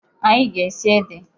Anyị ga-esi ede.